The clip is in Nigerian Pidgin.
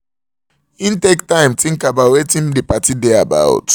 he take time think about watin the party dey about